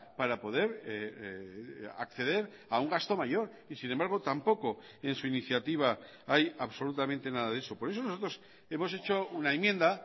para poder acceder a un gasto mayor y sin embargo tampoco en su iniciativa hay absolutamente nada de eso por eso nosotros hemos hecho una enmienda